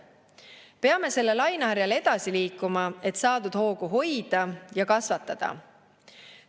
Peame selle laineharjal edasi liikuma, et saadud hoogu hoida ja kasvatada.